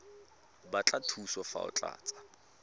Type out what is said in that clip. batla thuso fa o tlatsa